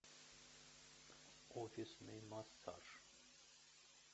офисный массаж